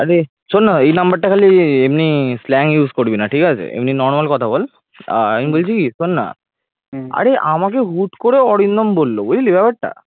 আরে শোন না এই number টা খালি এমনি slang use করবি না ঠিক আছে এমনি normal কথা বল আমি বলছি কি শোন না আরে আমাকে হুট করে অরিন্দম বলল বুঝলি ব্যাপারটা ।